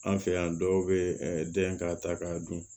An fɛ yan dɔw bɛ den k'a ta k'a dun